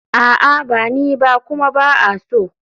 A'a ba ni ba kuma ba a so.